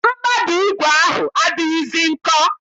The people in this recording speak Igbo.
Mkpabi ígwè ahụ adịghịzi nkọ